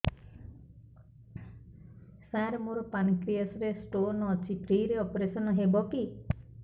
ସାର ମୋର ପାନକ୍ରିଆସ ରେ ସ୍ଟୋନ ଅଛି ଫ୍ରି ରେ ଅପେରସନ ହେବ କି